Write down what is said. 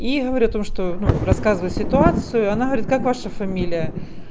и говорю о том что ну рассказываю ситуацию она говорит как ваша фамилия